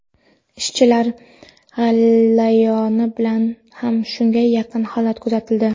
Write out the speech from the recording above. Ishchilar g‘alayoni bilan ham shunga yaqin holat kuzatildi.